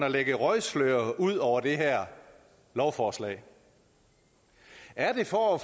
at lægge et røgslør ud over det her lovforslag er det for at